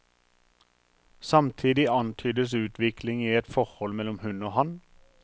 Samtidig antydes utvikling i et forhold mellom hun og han.